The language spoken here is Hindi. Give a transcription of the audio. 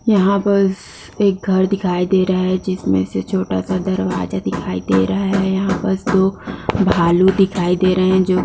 यहाँ पर एक घर दिखाई दे रहा जिसमें से छोटा-सा दरवाजा दिखाई दे रहा है| यहाँ पर दो भालू दिखाई दे रहे हैं जो--